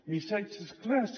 missatges clars